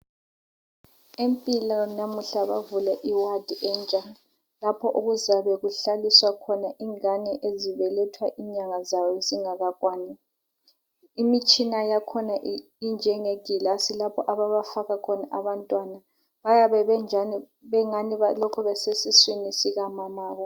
Empilo namuhla bavule iwadi entsha laoho okuzabe kuhlaliswa khona ingane ezibelethwa inyanga zazo zingakakwani. Imitshina yakhona injenge gilasi lapho ababafaka khona abantwana. Bayabe bengani balokhe besesiswini sikamamabo.